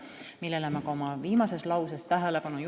Oma kõne viimases lauses juhtisin sellele ka tähelepanu.